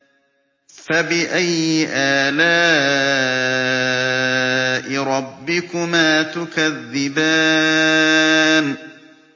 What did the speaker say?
فَبِأَيِّ آلَاءِ رَبِّكُمَا تُكَذِّبَانِ